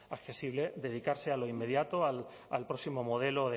accesible dedicarse a lo inmediato al próximo modelo